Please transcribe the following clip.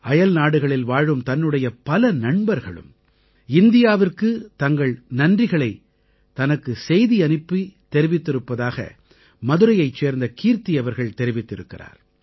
அயல்நாடுகளில் வாழும் தன்னுடைய பல நண்பர்களும் இந்தியாவிற்குத் தங்கள் நன்றிகளை தனக்கு செய்தி அனுப்பித் தெரிவிப்பதாக மதுரையைச் சேர்ந்த கீர்த்தி அவர்கள் தெரிவித்திருக்கிறார்